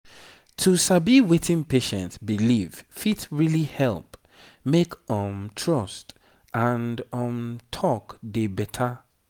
to sabi wetin patient believe fit really help make um trust and um talk dey better